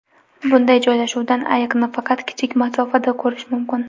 Bunday joylashuvdan ayiqni faqat kichik masofadan ko‘rish mumkin.